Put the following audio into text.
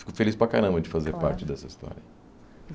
Eu fico feliz para caramba de fazer parte Claro Dessa história.